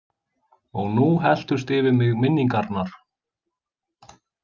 Og nú helltust yfir mig minningarnar.